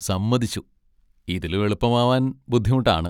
സമ്മതിച്ചു! ഇതിലും എളുപ്പമാവാൻ ബുദ്ധിമുട്ടാണ്.